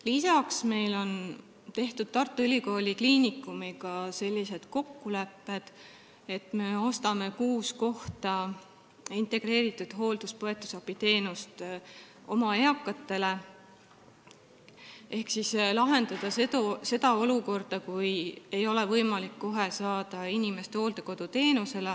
Lisaks on meil Tartu Ülikooli Kliinikumiga sellised kokkulepped, et me ostame kuus integreeritud hooldus-põetusabiteenuse kohta oma eakatele, et lahendada seda olukorda, kus inimesel ei ole kohe võimalik saada hooldekoduteenust.